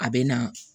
A bɛ na